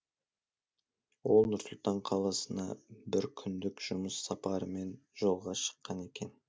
ол нұр сұлтан қаласына бір күндік жұмыс сапарымен жолға шыққан екен